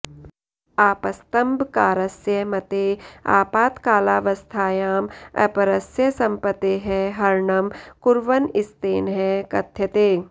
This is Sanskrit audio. आपस्तम्बकारस्य मते आपातकालावस्थायां अपरस्य सम्पत्तेः हरणं कुर्वन् स्तेनः कथ्यते